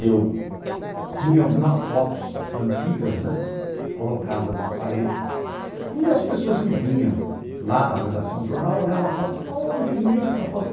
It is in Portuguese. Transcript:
Eu tinha algumas fotos antigas né colocadas na parede e as pessoas que vinham lá na redação do jornal olhavam a foto, olha que bonita essa foto.